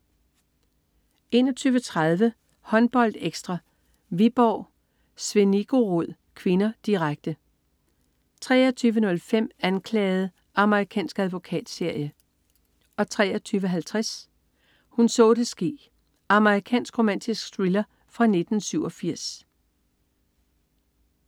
21.30 HåndboldEkstra: Viborg-Z. Zvenigorod (k), direkte 23.05 Anklaget. Amerikansk advokatserie 23.50 Hun så det ske. Amerikansk romantisk thriller fra 1987